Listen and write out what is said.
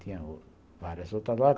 Tinha várias outras lojas.